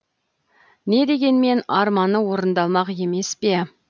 не дегенмен арманы орындалмақ емес пе